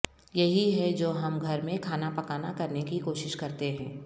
یہی ہے جو ہم گھر میں کھانا پکانا کرنے کی کوشش کرتے ہیں